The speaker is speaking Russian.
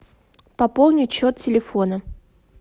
пополнить счет телефона